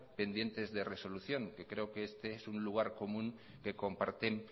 pendientes de resolución y creo que este es un lugar común que comparten